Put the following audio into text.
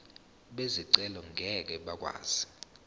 bezicelo ngeke bakwazi